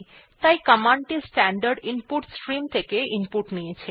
তাই কমান্ড টি standard input stream থেকে ইনপুট নিয়েছে